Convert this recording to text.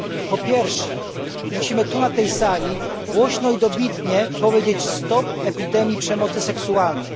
Po pierwsze, musimy tu na tej sali głośno i dobitnie powiedzieć stop epidemii przemocy seksualnej.